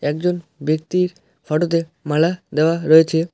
একজন ব্যক্তির ফোটোতে মালা দেওয়া রয়েছে।